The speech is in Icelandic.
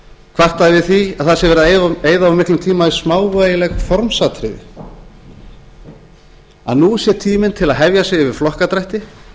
kvartað yfir því að það sé verið að eyða of miklum tíma í smávægileg formsatriði að nú sé tíminn til að hefja sig yfir flokkadrætti